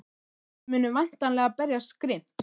Þið munið væntanlega berjast grimmt?